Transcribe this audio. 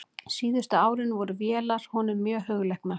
Síðustu árin voru vélar honum mjög hugleiknar.